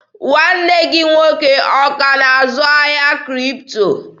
Nwanne gị nwoke ọ ka na-azụ ahịa Kripto?